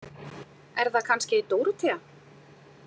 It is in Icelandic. Er það kannski Dórótea?